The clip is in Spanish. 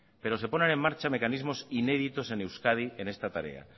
pero se ponen en marcha mecanismos inéditos en euskadi en esta tarea